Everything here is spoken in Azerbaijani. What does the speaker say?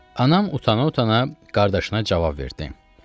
Anam utana-utana qardaşına cavab verdi.